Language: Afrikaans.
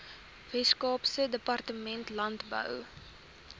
weskaapse departement landbou